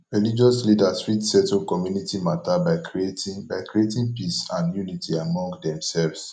religious leaders fit settle community mata by creating by creating peace and unity among themselves